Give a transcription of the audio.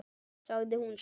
sagði hún svo.